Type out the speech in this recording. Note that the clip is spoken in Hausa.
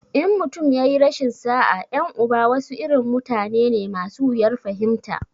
In mutum ya yi rashin sa'a, 'yan uba wasu irin mutane ne masu wuyar fahimta.